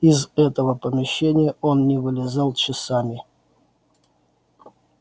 из этого помещения он не вылезал часами